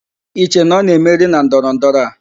I che na ọ na-emeri na ndọrọ ndọrọ a?